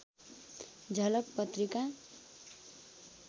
झलक पत्रिका